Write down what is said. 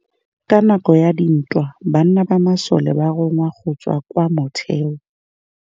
Ka nakô ya dintwa banna ba masole ba rongwa go tswa kwa mothêô.